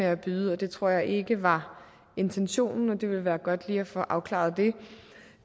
at byde og det tror jeg ikke var intentionen det ville være godt lige at få afklaret det